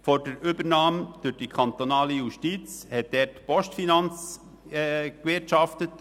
Vor der Übernahme durch die kantonale Justiz hat dort die Postfinance gewirtschaftet.